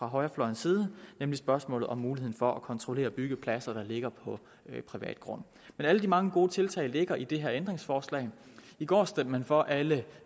højrefløjens side nemlig spørgsmålet om muligheden for at kontrollere byggepladser der ligger på privat grund men alle de mange gode tiltag ligger i det her ændringsforslag i går stemte man for alt